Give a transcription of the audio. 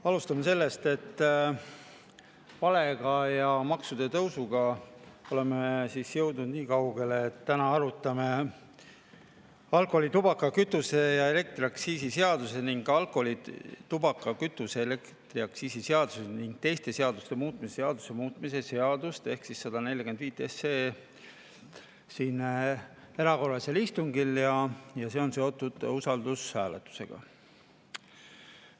Alustame sellest, et valega ja maksude tõusuga oleme jõudnud nii kaugele, et täna arutame alkoholi-, tubaka-, kütuse- ja elektriaktsiisi seaduse ning alkoholi-, tubaka-, kütuse- ja elektriaktsiisi seaduse ning teiste seaduste muutmise seaduse muutmise seaduse 145 siin erakorralisel istungil ja see on seotud usaldushääletusega.